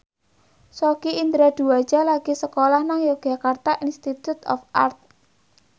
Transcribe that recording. Sogi Indra Duaja lagi sekolah nang Yogyakarta Institute of Art